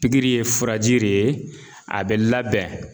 Pikiri ye furaji de ye a bɛ labɛn